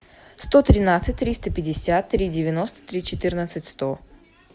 сто тринадцать триста пятьдесят три девяносто три четырнадцать сто